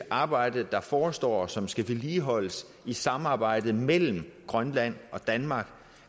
arbejde der forestår og som skal vedligeholdes i samarbejdet mellem grønland og danmark